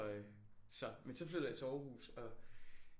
Så øh men så flyttede jeg til Aarhus og